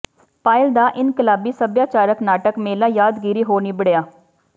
ਪਾਇਲ ਦਾ ਇਨਕਲਾਬੀ ਸੱਭਿਆਚਾਰਕ ਨਾਟਕ ਮੇਲਾ ਯਾਦਗਾਰੀ ਹੋ ਨਿੱਬੜਿਆ